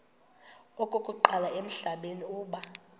okokuqala emhlabeni uba